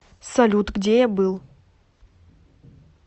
салют где я был